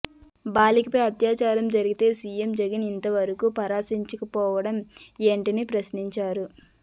బాలికపై అత్యాచారం జరిగితే సీఎం జగన్ ఇంతవరకు పరామర్శించకపోవడం ఏంటని ప్రశ్నించారు